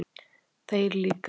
Þeir líka